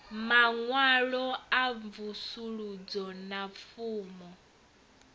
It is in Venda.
maṅwalo a mvusuludzo na fomo